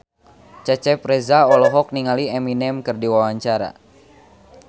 Cecep Reza olohok ningali Eminem keur diwawancara